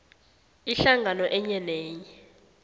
ihlangano enye nenye